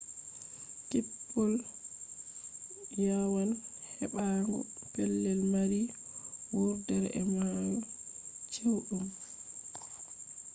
kippol yawan heɓaago pelel mari wurdere e mahol chewɗum